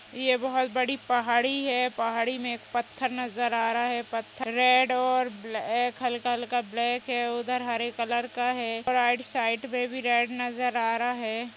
यह बहुत बड़ी पहाड़ी है । पहाड़ी में पत्थर नजर आ रहा है। पत्थर रेड और हल्का हल्का ब्लैक है । उधर हरे कलर का है और राइट साइड में भी रेड नजर आ रहा है ।